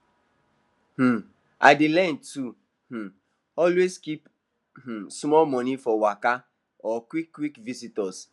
um i dey learn to um always keep um small money for waka or quick quick visitors